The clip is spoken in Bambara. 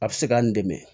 A bɛ se k'an dɛmɛ